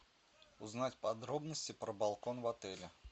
узнать подробности про балкон в отеле